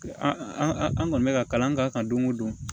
An an kɔni bɛ ka kalan k'a kan don o don